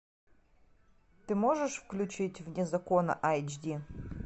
ты можешь включить вне закона айч ди